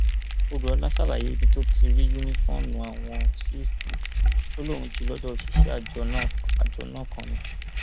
òdúọlá ṣàlàyé ibi tó ti rí yunifóònù ààwọn sífù ó lóun jí i lọdọ òṣìṣẹ àjọ náà kan ni